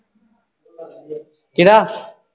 ਕਿਹਦਾ?